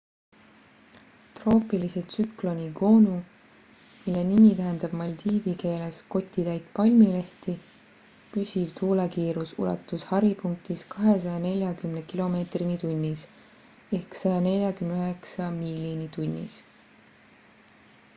troopilise tsükloni gonu mille nimi tähendab maldiivi keeles 'kotitäit palmilehti' püsiv tuulekiirus ulatus haripunktis 240 kilomeetrini tunnis 149 miili tunnis